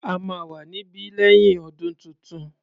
A máa wà níbí lẹ́yìn ọdún tuntun.